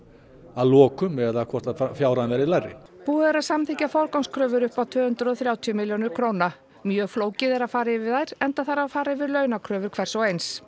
að lokum eða hvort að fjárhæðin verði lægri búið er að samþykkja forgangskröfur upp á um tvö hundruð og þrjátíu milljónir króna mjög flókið er að fara yfir þær enda þarf að fara yfir launakröfur hvers og eins